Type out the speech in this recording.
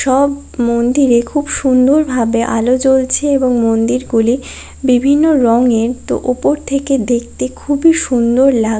সব মন্দিরে খুব সুন্দরভাবে আলো জ্বলছে এবং মন্দিরগুলি বিভিন্ন রঙের তো ওপর থেকে দেখতে খুবই সুন্দর লা--